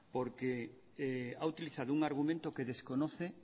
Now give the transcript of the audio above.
porque ha utilizado un argumento que desconoce